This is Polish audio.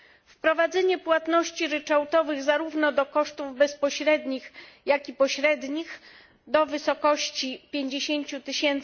Wprowadzenie płatności ryczałtowych zarówno do kosztów bezpośrednich, jak i pośrednich do wysokości 50 tys.